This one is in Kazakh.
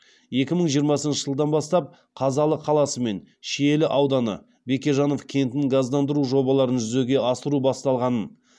екі мың жиырмасыншы жылдан бастап қазалы қаласы мен шиелі ауданы бекежанов кентін газдандыру жобаларын жүзеге асыру басталғанын